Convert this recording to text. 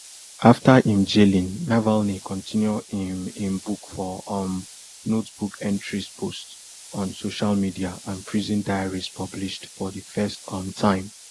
after im jailing navalny continue im im book for um notebook entries posts on social media and prison diaries published for di first um time